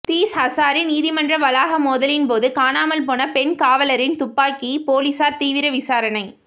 these Hazari நீதிமன்ற வளாக மோதலின் போது காணாமல்போன பெண் காவலரின் துப்பாக்கிபோலீஸாா் தீவிர விசாரணை